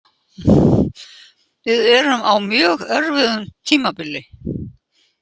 Við erum á mjög erfiðu tímabili